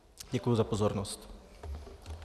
Děkuji za pozornost.